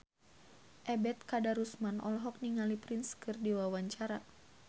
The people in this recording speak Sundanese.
Ebet Kadarusman olohok ningali Prince keur diwawancara